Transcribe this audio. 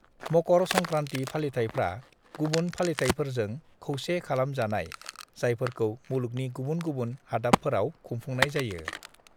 मकर संक्रान्ति फालिथायफ्रा गुबुन फालिथायफोरजों खौसे खालाम जानाय जायफोरखौ मुलुगनि गुबुन गुबुन हादाबफोराव खुंफुंनाय जायो।